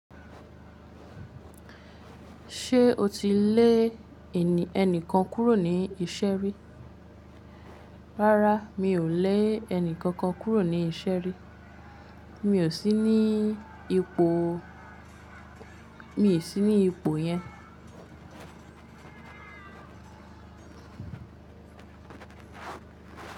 Ṣé o ti lè ẹnìkan kúrò ní ìṣẹ́ rí? Rárá, mi ò lẹ́ ẹnìkan kán kúrò ní Ìṣẹ́rí. Mi ò sí ní ipò yẹn.